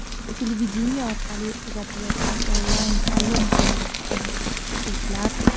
Televideniye orqali uzatilayotgan onlayn ta’lim dasturini ko‘rayotgan o‘quvchilar.